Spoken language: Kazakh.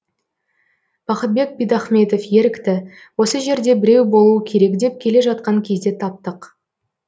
бақытбек бидахметов ерікті осы жерде біреуі болуы керек деп келе жатқан кезде таптық